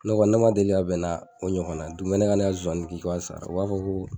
Ne kɔni, ne ma deli ka bɛn na o ɲɔgɔn na ye. Dugumɛnɛ ka ne ka nsonsani kin fo a sala, u b'a fɔ ko